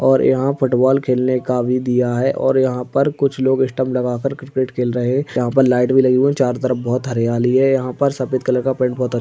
और यहां फुटबॉल खेलने का भी दिया है और यहां पर कुछ लोग स्टम्प लगाकर क्रिकेट खेल रहे। यहां पर लाइट भी लगी हुई चारों तरफ बहुत हरियाली है। यहां पर सफेद कलर का पेंट बोहोत अ --